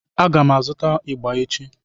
A ga m azụta ịgbà echi.